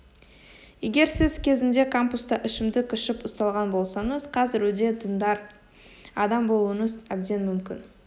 егер сіз кезінде кампуста ішімдік ішіп ұсталған болсаңыз қазір өте діндар адам болуыңыз әбден мүмкін